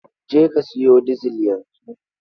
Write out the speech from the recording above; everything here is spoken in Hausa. Je ka siyo dizil yanzu!